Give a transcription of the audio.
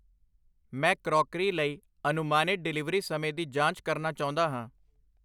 ਮੈਂ ਕਰੌਕਰੀ ਲਈ ਅਨੁਮਾਨਿਤ ਡਿਲੀਵਰੀ ਸਮੇਂ ਦੀ ਜਾਂਚ ਕਰਨਾ ਚਾਹੁੰਦਾ ਹਾਂ।